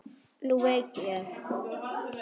Nú veit ég.